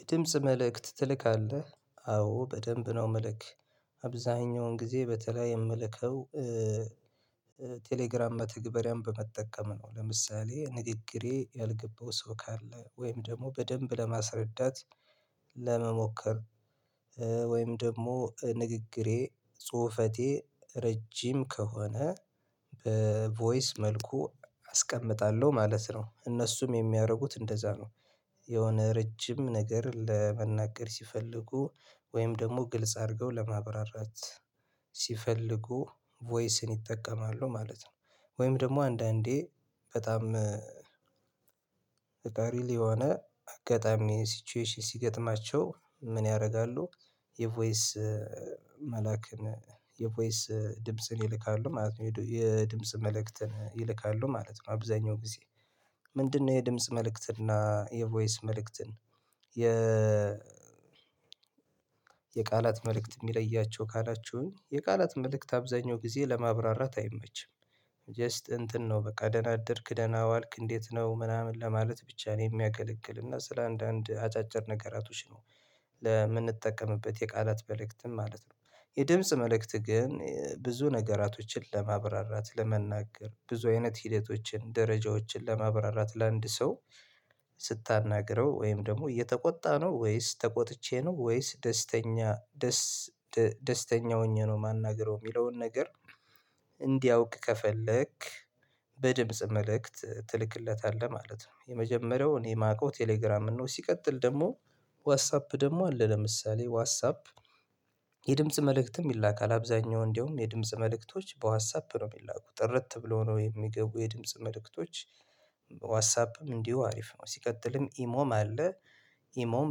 የድምጽ መልእክት ትልካለህ አዎ በደንብ ነው ምልክ አብዛኛውን ጊዜ በተለይ የምልከው ቴሌግራም መተግበሪያም በመጠቀም ነው። ለምሳሌ ንግግሬ ያልገባው ሰው ካለ ወይም ደግሞ በደንብ ለማስረዳት ለመሞከር ወይም ደግሞ ንግግሬ ጽሁፈቴ ረጅም ከሆነ በቮይስ መልኩ አስቀምጣለሁ ማለት ነው እነሱም የሚያደርጉት እንደዛ ነው። የሆነ ረጅም ነገር ለመናገር ሲፈልጉ ወይም ደግሞ ግልጽ አድርገው ለማብራራት ሲፈልጉ ቮይስን ይጠቀማሉ ማለት ነው። ወይም ደግሞ አንዳንዴ በጣም ሪል የሆነ አጋጣሚ ሲቹዌሽን ሲገጥማቸው ምን ያደርጋሉ? የቮይስ መልአክን የቮይስ ድምጽን ይልካሉ ማለት ነው የድምጽ መልእክትን ይልካሉ ማለት ነው። አብዛኛው ጊዜ ምንድነው የድምጽ መልእክትን እና የቮይስ መልእክትን የ የቃላት መልእክት የሚለያቸው ካላችውኝ የቃላት መልእክት አብዛኛው ጊዜ ለማብራራት አይመችም። ጀስት እንትን ነው በቃ ደናደርክ ደናዋልክ እንዴት ነው ምናምን ለማለት ብቻ ነው የሚያገለግል እና ስለ አንዳንድ አጫጭር ነገራቶች ነው። ለምንጠቀምበት የቃላት መልእክትን ማለት ነው። የድምጽ መልእክት ግን ብዙ ነገራቶችን ለማብራራት ለመናገር ብዙ አይነት ሂደቶችን ደረጃዎችን ለማብራራት ለአንድ ሰው ስታናግረው ወይም ደግሞ እየተቆጣ ነው ወይስ ተቆጥቼ ነው ወይስ ደስተኛ ደስ ደስተኛ ሆኜ ነው የማናግረው የሚለውን ነገር እንዲያውቅ ከፈለክ በድምጽ መልእክት ትልክለታለህ ማለት ነው። የመጀመሪያውን እኔ የማውቀው ቴሌግራም ነው። ሲቀጥል ደግሞ ዋትሳፕ ደግሞ አለ ለምሳሌ ዋትሳፕ መልእክትም ይላካል አብዛኛው እንደውም የድምጽ መልእክቶች በዋትሳፕ ነው የሚላኩት ጥርት ብሎ ነው የሚገቡ የድምጽ መልእክቶች። ዋትሳፕም እንዲሁ አሪፍ ነው ሲቀጥልም ኢሞም አለ ኢሞም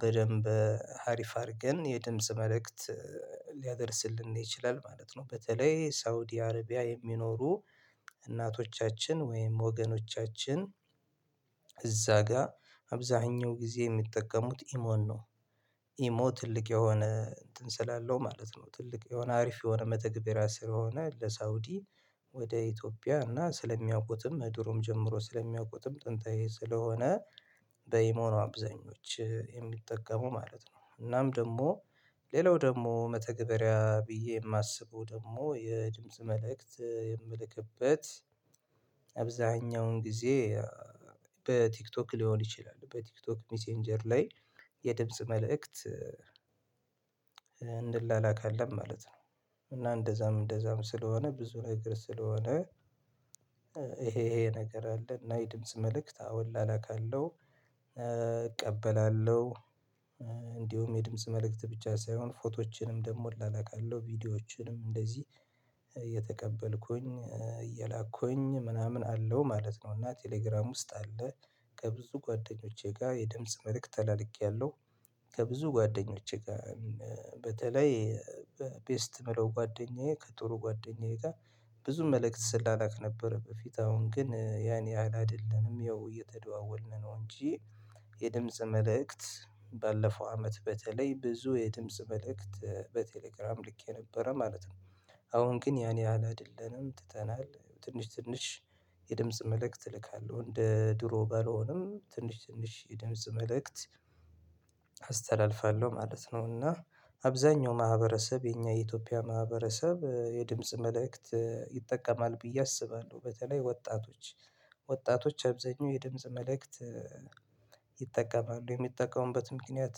በደንብ አሪፍ አድርገን የድምጽ መልእክት ሊያደርስልን ይችላል ማለት ነው። በተለይ ሳውዲ አረቢያ የሚኖሩ እናቶቻችን ወይም ወገኖቻችን እዛ ጋር አብዛኛው ጊዜ የሚጠቀሙት ኢሞን ነው። ኢሞ ትልቅ የሆነ እንትን ስላለው ማለት ነው ትልቅ የሆነ አሪፍ የሆነ መተግበሪያ ስለሆነ ለሳውዲ ወደ ኢትዮጵያ እና ስለሚያውቁትም ድሮም ጀምሮ ስለሚያውቁትም ጥንታዊ ስለሆነ በኢሞ ነው አብዛኞች የሚጠቀሙ ማለት ነው። እናም ደግሞ ሌላው ደግሞ መተግበሪያ ብዬ የማስበው ደግሞ የድምጽ መልእክት የምልክበት አብዛኛውን ጊዜ በቲክቶክ ሊሆን ይችላል በቲክቶክ ሚሴንጀር ላይ የድምጽ መልእክት እንላካለን ማለት ነው። እና እንደዛም እንደዛም ስለሆነ ብዙ ነገር ስለሆነ ይሄ ይሄ ነገር አለ እና የድምጽ መልእክት አዎላ እላላካለው እቀበላለሁ የድምጽ መልእክት ብቻ ሳይሆን ፎቶዎችንም ደግሞ እላላካለሁ ቪዲዮዎችንም እንደዚህ የተቀበልኩኝ እየላኩኝ ምናምን አለው ማለት ነው። እና ቴሌግራም ውስጥ አለ ከብዙ ጓደኞቼ ጋር የድምጽ መልእክት ተላልኬያለሁ። ከብዙ ጓደኞቼ ጋር በተለይ በቤስት ምለው ጓደኛዬ ከጥሩ ጓደኛዬ ጋር ብዙ መልእክት ስላላክ ነበረ በፊት አሁን ግን ያን የሀል አይደለንም ያው እየተደዋወልን ነው እንጂ የድምጽ መልእክት ባለፈው አመት በተለይ ብዙ የድመጽ መልእክት በቴሌግራም ልኬ ነበረ ማለት ነው። አሁን ግን ያን ያህል አይደለንም ትተናል ትንሽ ትንሽ የድምጽ መልእክት እልካለሁ እንደ ድሮ ባልሆንም ትንሽ ትንሽ የድምጽ መልእክት አስተላልፋለሁ ማለት ነው። እና አብዛኛው ማህበረሰብ የኛ የኢትዮጵያ ማህበረሰብ የድምጽ መልእክት ይጠቀማል ብዬ አስባለሁ በተለይ ወጣቶች ወጣቶች አብዛኛው የድምጽ መልእክት ይጠቀማሉ የሚጠቀሙበት ምክንያት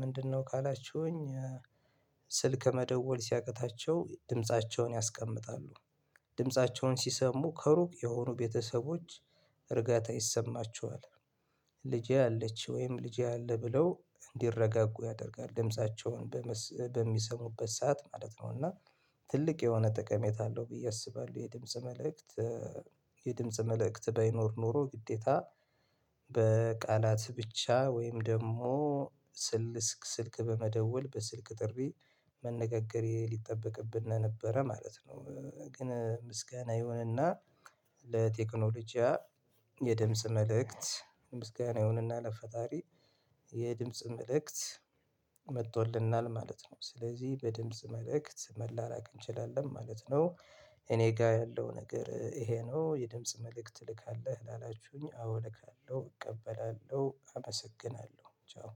ምንድነው ካላችሁኝ? ስልክ መደወል ሲያቅታቸው ድምፃቸውን ያስቀምጣሉ ድምፃቸውን ሲሰሙ ከሩቅ የሆኑ ቤተሰቦች እርጋታ ይሰማቸዋል ልጄ አለች ወይም ልጄ አለ ብለው እንዲረጋጉ ያደርጋል ድምፃቸውን በሚሰሙበት ሰዓት ማለት ነው። እና ትልቅ የሆነ ጥቀሜት አለው ብዬ አስባለሁ የድምጽ መልእክት የድምጽ መልእክት ባይኖር ኖሮ ግዴታ በቃላት ብቻ ወይም ደግሞ ስልክ ስልክ በመደወል በስልክ ጥሪ መነጋገሬ ሊጠበቅብን ነበረ ማለት ነው። ግን ምስጋና ይሁንና ለቴክኖሎጂያ የድምጽ መልእክት ምስጋና ይሁንና ለፈጣሪ የድምጽ መልእክት መጥቶልናል ማለት ነው። ስለዚህ በድምጽ መልእክት መላላክ እንችላለን ማለት ነው። እኔ ጋር ያለው ነገር ይሄ ነው የድምጽ መልእክት ተልካለህ ላላችሁኝ አዎ ልካለሁ እቀበላለሁ አመሰግናለሁ ቻው።